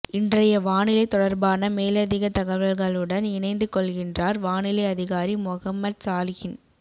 இன்றைய வானிலை தொடர்பான மேலதிக தகவல்களுடன் இணைந்து கொள்கின்றார் வானிலை அதிகாரி மொஹம்மட் சாலிஹின்